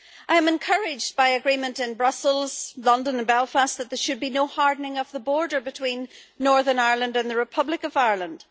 I am encouraged by agreements in Brussels, London and Belfast that there should be no hardening of the border between Northern Ireland and the Republic of Ireland.